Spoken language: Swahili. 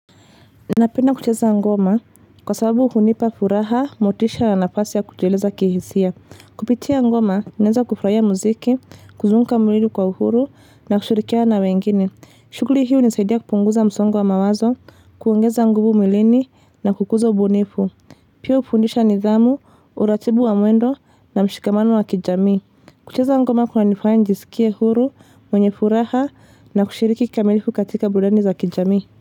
Napenda kucheza ngoma kwa sababu uhunipa furaha, motisha nafasi ya kujileleza kihisia. Kupitia ngoma, naeza kufurahia muziki, kuzunguka mwili kwa uhuru na kushirikiana wengine. Shughuli hii hunisaidia kupunguza msongo mawazo, kuongeza nguvu mwilini na kukuza ubunifu. Pia hufundisha nidhamu, uratibu wa muendo na mshikamano wa kijamii. Kucheza ngoma kunanifanya nijisikia huru, mwenye furaha na kushiriki kikamilifu katika burudani za kijami.